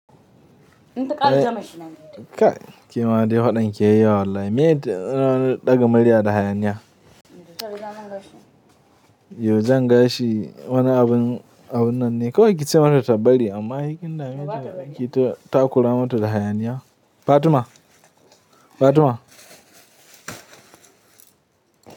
In ta ƙara zama shi nan Kai, ke ma dai faɗan ki yayi yawa wallahi. Meye na ɗaga murya da hayaniya? Yo jan gashi wani abun, abun nan ne, kawai ki ce mata ta bari, amma hai kin dame ta ki ta kura mata da hayaniya. Fatima, Fatima.